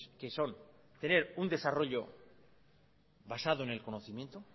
que son tener un desarrollo basado en el conocimiento